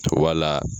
Wala